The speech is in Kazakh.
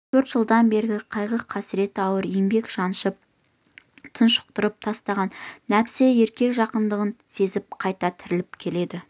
төрт жылдан бері қайғы-қасірет ауыр еңбек жаншып тұншықтырып тастаған нәпсісі еркек жақындығын сезіп қайта тіріліп келеді